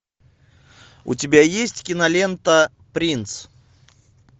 у тебя есть кинолента принц